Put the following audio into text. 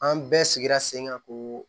An bɛɛ sigira sen kan ko